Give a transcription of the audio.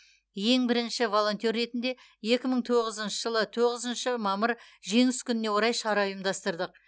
ең бірінші волонтер ретінде екі мың тоғызыншы жылы тоғызыншы мамыр жеңіс күніне орай шара ұйымдастырдық